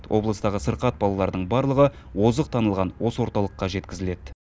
облыстағы сырқат балалардың барлығы озық танылған осы орталыққа жеткізіледі